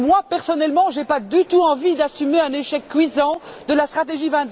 Personnellement, je n'ai pas du tout envie d'assumer un échec cuisant de la stratégie